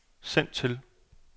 send til